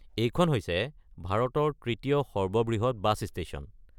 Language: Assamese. এইখন হৈছে ভাৰতৰ তৃতীয় সৰ্ববৃহৎ বাছ ষ্টেশ্যন।